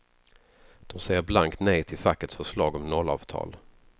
De säger blankt nej till fackets förslag om nollavtal.